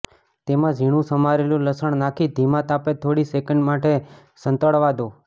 તેમાં ઝીણુ સમારેલુ લસણ નાંખી ધીમા તાપે થોડી સેકન્ડ માટે સંતળાવા દો